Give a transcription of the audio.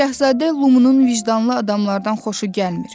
Şahzadə Lumunun vicdanlı adamlardan xoşu gəlmir.